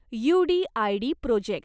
UDID project